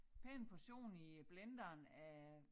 Pæn portion i blenderen af